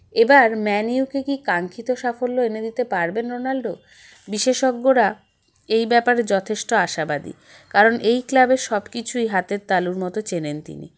এবার ম্যানিউ কে কী কাঙ্খিত সাফল্য এনে দিতে পারবেন রোনাল্ডো বিশেষজ্ঞরা এই ব্যাপারে যথেষ্ট আশাবাদী কারণ এই club -এর সবকিছুই হাতের তালুর মতো চেনেন তিনি